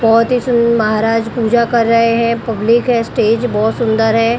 बहोत ही सुन महाराज पूजा कर रहे है पब्लिक है स्टेज बहोत सुंदर है।